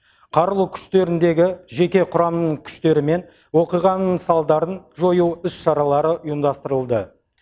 қарулы күштеріндегі жеке құрамының күштерімен оқиғаның салдарын жою іс шаралары ұйымдастырылды